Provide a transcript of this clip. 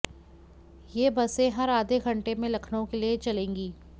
ये बसें हर आधे घंटे में लखनऊ के लिए चलेंगी